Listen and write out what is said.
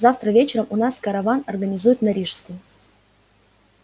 завтра вечером у нас караван организуют на рижскую